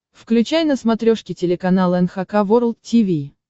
включай на смотрешке телеканал эн эйч кей волд ти ви